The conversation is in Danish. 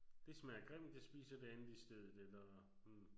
Det smager grimt jeg spiser det andet i stedet eller hm